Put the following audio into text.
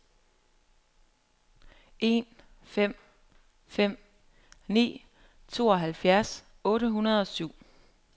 en fem fem ni tooghalvfjerds otte hundrede og syv